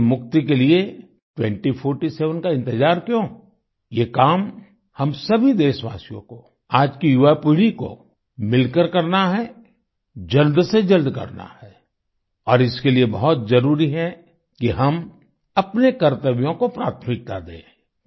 उससे मुक्ति के लिए 2047 का इंतजार क्यों ये काम हम सभी देशवासियों को आज की युवापीढ़ी को मिलकर करना है जल्द से जल्द करना है और इसके लिए बहुत जरुरी है कि हम कि हम अपने कर्तव्यों को प्राथमिकता दें